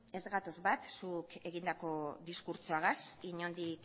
ez gatoz bat zuk egindako diskurtsoagaz inondik